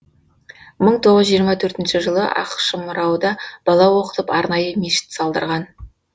мың тоғыз жүз жиырма төртінші жылы ақшымырауда бала оқытып арнайы мешіт салдырған